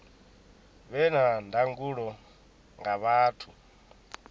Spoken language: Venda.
vhe na ndangulo nga vhathu